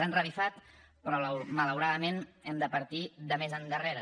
han revifat però malauradament hem de partir de més enrere